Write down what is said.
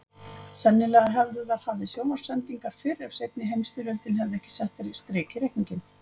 Sennilega hefðu þær hafið sjónvarpssendingar fyrr ef seinni heimstyrjöldin hefði ekki sett strik í reikninginn.